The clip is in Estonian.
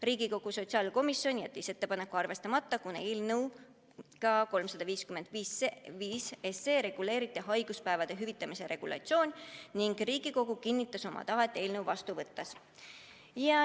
Riigikogu sotsiaalkomisjon jättis ettepaneku arvestamata, kuna eelnõus 355 reguleeriti haiguspäevade hüvitamise regulatsioon ning Riigikogu kinnitas oma tahet eelnõu seadusena vastu võttes.